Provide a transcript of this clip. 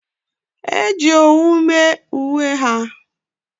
e ji owu mee uwe ha